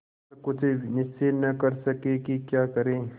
पर कुछ निश्चय न कर सके कि क्या करें